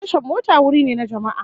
Tashar mota wuri ne na jama'a